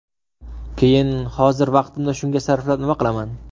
Keyin hozir vaqtimni shunga sarflab nima qilaman?